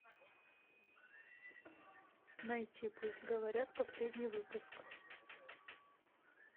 найти пусть говорят последний выпуск